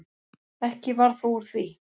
Ekki varð þó úr því.